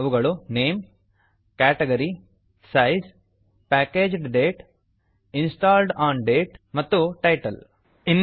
ಅವುಗಳು name name category category size size packaged date packaged date installed on date installed on date ಮತ್ತು title title